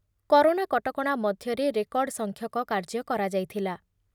Corona କଟକଣା ମଧ୍ୟରେ record ସଂଖ୍ୟକ କାର୍ଯ୍ୟ କରାଯାଇଥିଲା ।